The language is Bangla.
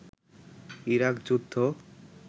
ইরাক যুদ্ধ